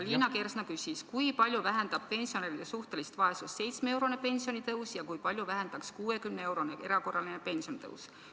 Liina Kersna küsis, kui palju vähendab pensionäride suhtelist vaesust 7-eurone pensionitõus ja kui palju vähendaks 60-eurone erakorraline pensionitõus.